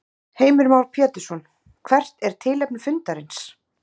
Heimir Már Pétursson: Hvert er tilefni fundarins?